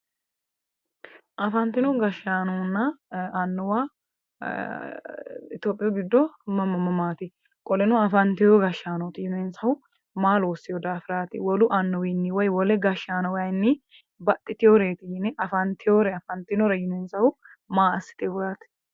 Afantino gashshaanonna annuwa itophiyuu giddo mama mama qoleno afantewo gashshaanooti yineemmohu maa loossewo daafiraati? wolu annuwiinni woyi wole gashshaanowayiinni baxxitwooreeti woyi afantiwohu maa assiteeti?